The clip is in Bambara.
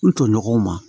U tɔɲɔgɔnw ma